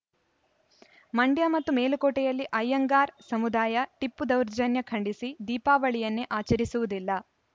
ಮಂಡ್ಯ ಮತ್ತು ಮೇಲುಕೋಟೆಯಲ್ಲಿ ಅಯ್ಯಂಗಾರ್‌ ಸಮುದಾಯ ಟಿಪ್ಪು ದೌರ್ಜನ್ಯ ಖಂಡಿಸಿ ದೀಪಾವಳಿಯನ್ನೇ ಆಚರಿಸುವುದಿಲ್ಲ